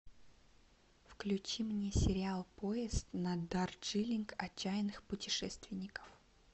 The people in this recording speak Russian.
включи мне сериал поезд на дарджилинг отчаянных путешественников